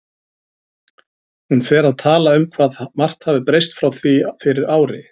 Hún fer að tala um það hvað margt hafi breyst frá því fyrir ári.